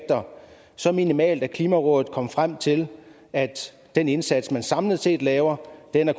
så minimale at klimarådet kom frem til at den indsats man samlet set laver